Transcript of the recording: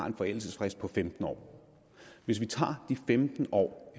en forældelsesfrist på femten år hvis vi tager de femten år